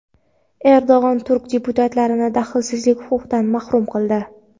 Erdo‘g‘on turk deputatlarini daxlsizlik huquqidan mahrum qildi.